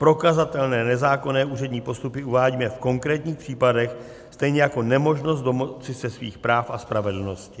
Prokazatelné nezákonné úřední postupy uvádíme v konkrétních případech, stejně jako nemožnost domoci se svých práv a spravedlnosti.